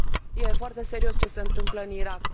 E foarte serios ce se întâmplă în Irak.